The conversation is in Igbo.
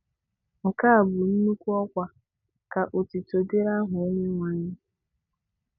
Nke a bụ nnukwu ọkwa, ka otuto dịrị aha Onyenwe anyị...